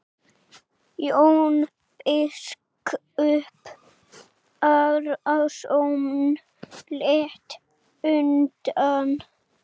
Jón biskup Arason lét undan.